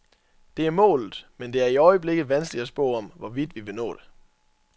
Det er målet, men det er i øjeblikket vanskeligt at spå om, hvorvidt vi vil nå det.